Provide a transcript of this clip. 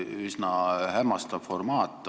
Üsna hämmastav formaat.